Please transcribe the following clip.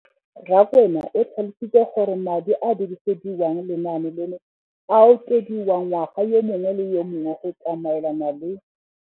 Rakwena o tlhalositse gore madi a a dirisediwang lenaane leno a okediwa ngwaga yo mongwe le yo mongwe go tsamaelana le.